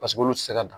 Paseke olu ti se ka dan